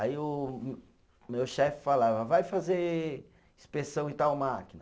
Aí o o meu chefe falava, vai fazer inspeção em tal máquina.